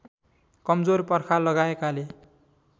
कमजोर पर्खाल लगाएकाले